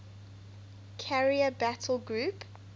carrier battle group